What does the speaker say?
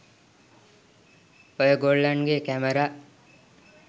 ඔය ගොල්ලන්ගේ කැමරා